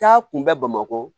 Taa kun bɛ bamakɔ